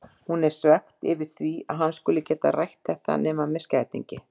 Hún er svekkt yfir því að hann skuli ekki geta rætt þetta nema með skætingi.